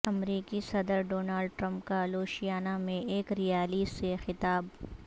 امریکی صدر Donald Trump کا لوشیانہ میں ایک ریالی سے خطاب